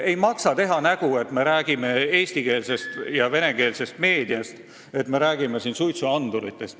Ei maksa teha nägu, et me räägime siin eesti- ja venekeelsest meediast või suitsuanduritest.